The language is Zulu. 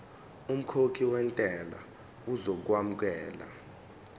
umkhokhi wentela uzokwamukelwa